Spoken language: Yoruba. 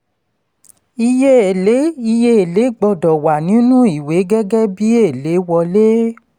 iye èlé iye èlé gbọdọ̀ wà nínú ìwé gẹ́gẹ́ bí èlé wọlé.